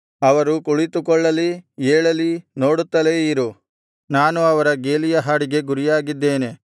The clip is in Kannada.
ಅವರು ಕುಳಿತುಕೊಳ್ಳಲಿ ಏಳಲಿ ನೋಡುತ್ತಲೇ ಇರು ನಾನು ಅವರ ಗೇಲಿಯ ಹಾಡಿಗೆ ಗುರಿಯಾಗಿದ್ದೇನೆ